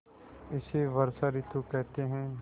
इसे वर्षा ॠतु कहते हैं